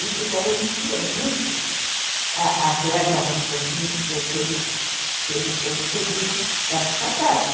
isso garantia muito a a verba, vamos dizer assim, que que eles recebiam das passagens.